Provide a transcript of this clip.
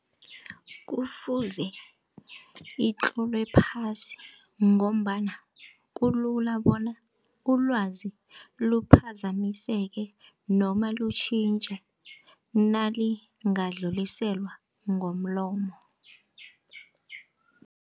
Kufuze itlolwe phasi ngombana kulula bona ulwazi luphaphazamiseke noma lutjhintjhe nalingadluliselwa ngomlomo.